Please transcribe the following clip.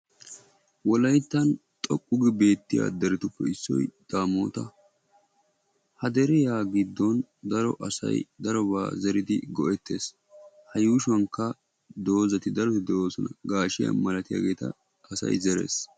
wolayttan xoqqu gi beettiya deretuppe issoy daamota. ha deriya giddon daro asay darobaa zeridi go"ettes. A yuushuwanka doozati daroti de"oosona. Gaashiyaa malatiyageeta asay zeres.